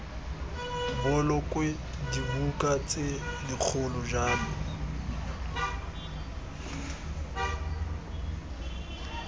bolokwe dibuka tse dikgolo jalo